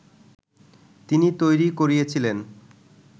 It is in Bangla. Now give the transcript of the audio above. তিনি তৈরি করিয়েছিলেন